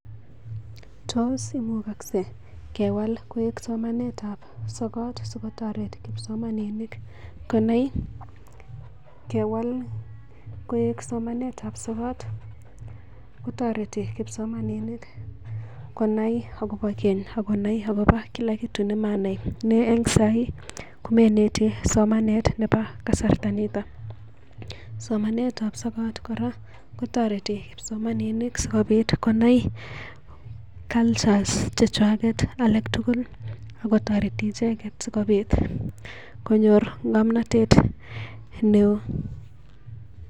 Tos imukakse kewal koek somanet ap sokat sikotoret kipsomaninik konai? Kewal koek somanetab sokat kotoreti kipsomaninik konai agobo keny ak konai agobo kila kitu nemanai ne en saii kamaineti somanet nebo kasarito. Somanetab sokat kora kotoreti kipsomaninik sikobit konai cultures chechwaget alak tugul ago toreti icheget sikobit konyor ng'omnatet neo.